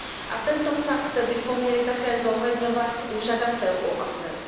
a tento fakt bychom měli také zohledňovat u žadatelů o azyl.